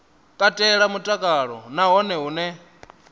katela mutakalo na hone hune